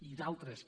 i d’altres que